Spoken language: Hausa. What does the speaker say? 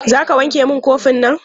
Za ka wanke min kofinan?